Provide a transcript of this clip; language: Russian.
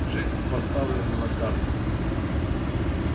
жизнь поставлена на карту